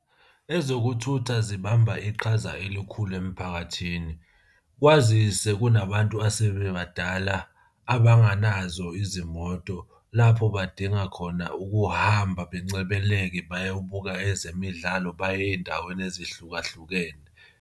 Ezokuthutha zibamba iqhaza elikhulu emphakathini, kwazise kunabantu asebebadala abanganazo izimoto lapho badinga khona ukuhamba bencebeleke bayobuka ezemidlalo baye ey'ndaweni ezihlukahlukene.